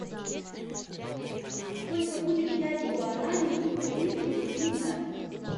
сколько будет пять гуарани в украинских гривнах